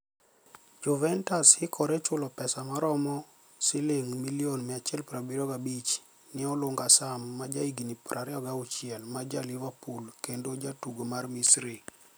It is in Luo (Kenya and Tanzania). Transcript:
Juvenitus hikorechulo pesa maromo silinig ' milioni 175 ni e Oluniga Saam, ma jahiginii 26 ma ja Liverpool kenido jatugo mar Misri.